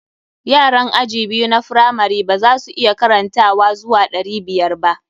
Yaran aji biyu na firamari ba za su iya karantawa zuwa ɗari biyar ba.